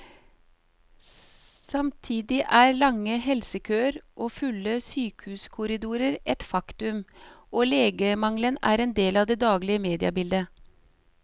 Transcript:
Samtidig er lange helsekøer og fulle sykehuskorridorer et faktum, og legemangelen er en del av det daglige mediebildet.